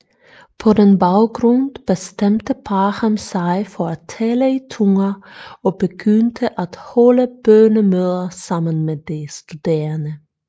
På den baggrund bestemte Parham sig for at tale i tunger og begyndte at holde bønnemøder sammen med de studerende